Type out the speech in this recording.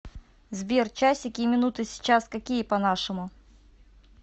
сбер часики и минуты сейчас какие по нашему